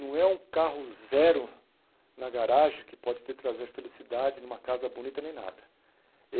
Não é um carro zero na garagem que pode te trazer felicidade numa casa bonita nem nada.